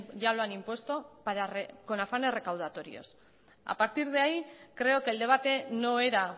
ya lo han impuesto con afanes recaudatorios a partir de ahí creo que el debate no era